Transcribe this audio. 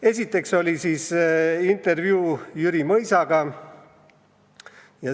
Esiteks, intervjuu Jüri Mõisaga.